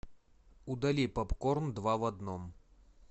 удали попкорн два в одном